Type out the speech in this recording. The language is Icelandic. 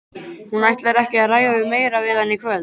Hún ætlar ekki að ræða meira við hann í kvöld.